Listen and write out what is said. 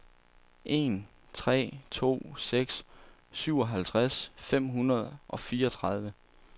en tre to seks syvoghalvtreds fem hundrede og fireogtredive